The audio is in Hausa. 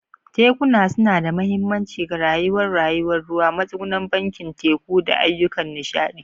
Tekuna suna da mahimmanci ga rayuwar rayuwar ruwa, matsugunan bakin teku, da ayyukan nishaɗi.